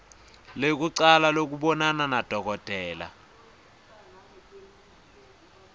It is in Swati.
lekucala lekubonana nadokotela